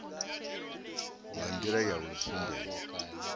nga ndila ya u sumbedza